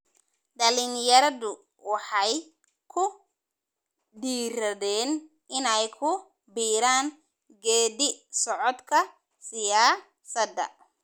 Dhalinyaradu waxay ku dhiiradeen inay ku biiraan geedi socodka siyaasada.